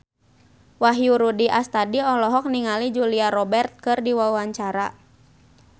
Wahyu Rudi Astadi olohok ningali Julia Robert keur diwawancara